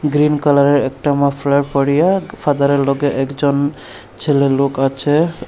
Green কালারের একটা muffler পরিয়ে ফাদারের লগে একজন ছেলে লোক আছে।